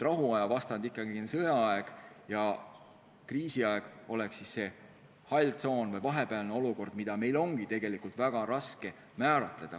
Rahuaja vastand on ikkagi sõjaaeg ja kriisiaeg oleks siis see hall tsoon või vahepealne olukord, mida ongi tegelikult väga raske määratleda.